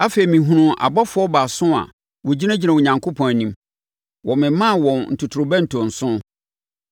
Afei mehunuu abɔfoɔ baason a wɔgyinagyina Onyankopɔn anim. Wɔmemaa wɔn ntotorobɛnto nson.